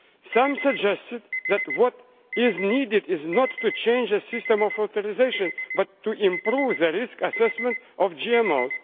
Some suggested that what is needed is not to change the system of authorisation but to improve the risk assessment of